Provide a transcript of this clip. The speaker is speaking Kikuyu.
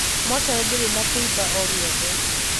Mocarī ndīrī na kīiba o gīothe